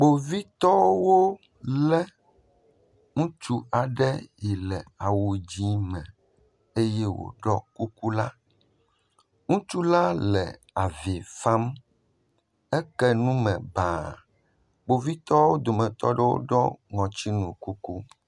Kpovitɔwo lé ɖekakpuia ɖe, eɖiɔ kuku ʋi, kpovitɔwo ƒe awua ele yibɔ, wo, ɖekakpui si wolé la la vi fam, kpovitɔwo.